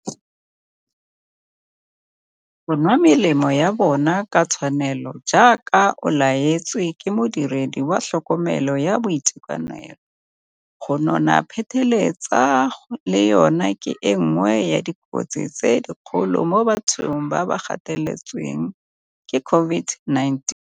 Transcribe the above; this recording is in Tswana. Go nwa melemo ya bona ka tshwanelo, jaaka o laetswe ke modiredi wa tlhokomelo ya boitekanelo. Go nona pheteletsa le yona ke e nngwe ya dikotsi tse dikgolo mo bathong ba ba gateletsweng ke COVID-19.